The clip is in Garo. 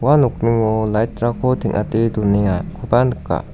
ua nokningo light-rangko teng·ate donengakoba nika.